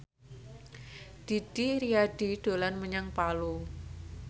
Didi Riyadi dolan menyang Palu